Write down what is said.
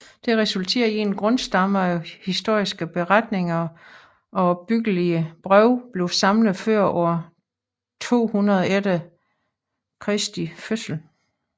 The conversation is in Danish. Det resulterede i at en grundstamme af historiske beretninger og opbyggelige breve blev samlet før år 200 e